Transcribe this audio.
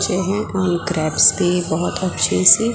अच्छे हैं और ग्रेप्स भी बहुत अच्छी सी--